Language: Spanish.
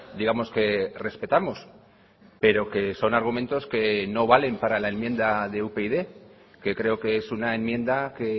digamos que respetamos pero que son argumentos que no valen para la enmienda de upyd que creo que es una enmienda que